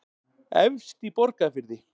efst í borgarfirði